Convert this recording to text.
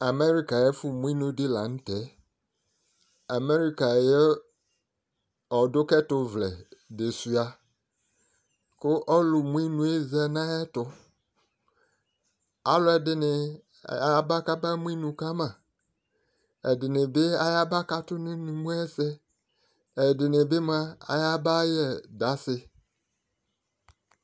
Amerika ayi ɛfo mo inu di lantɛ Amerika ayi ɔdo ka ɛto vlɛ di sua ko ɔlo mu inu yɛ za no ayɛto alo ɛdini aba kaba mo inu ka ma ɛdi ni bi aya ba kato no inumu ɛsɛ ɛdi ni bi moa aya ba yɛ dansiɛ